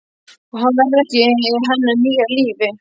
Og hann verði ekki í hennar nýja lífi.